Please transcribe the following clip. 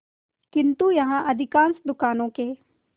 किंतु यहाँ अधिकांश दुकानों के